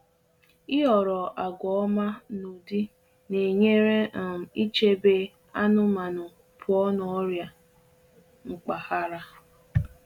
Ịhọrọ àgwà ọma n’ụdị na-enyere um ichebe anụmanụ pụọ n’ọrịa mpaghara